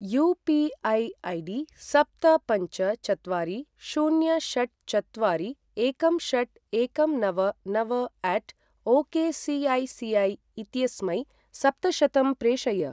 UPI. ID. सप्त पञ्च चत्वारि शून्य षट् चत्वारि एकं षट् एकं नव नव अट ओकेसिऐसिऐै इत्यस्मै सप्तशतं प्रेषय।